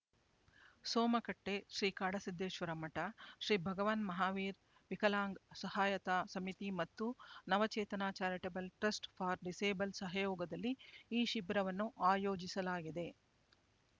ಸೋಮಕಟ್ಟೆ ಶ್ರೀಕಾಡಸಿದ್ಧೇಶ್ವರ ಮಠ ಶ್ರೀ ಭಗವಾನ್ ಮಹಾವೀರ್ ವಿಕಲಾಂಗ್ ಸಹಾಯತ ಸಮಿತಿ ಮತ್ತು Navachetana charitable trust for disable ಸಹಯೋಗದಲ್ಲಿ ಈ ಶಿಬಿರವನ್ನು ಆಯೋಜಿಸಲಾಗಿದೆ